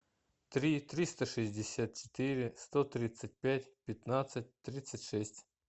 три триста шестьдесят четыре сто тридцать пять пятнадцать тридцать шесть